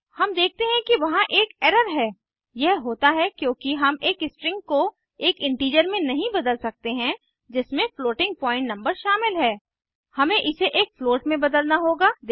हम देखते हैं कि वहां एक एरर है यह होता है क्योंकि हम एक स्ट्रिंग को एक इंटीजर में नहीं बदल सकते हैं जिसमें फ्लोटिंग पॉइंट नंबर शामिल है हमें इसे एक फ्लोट में बदलना होगा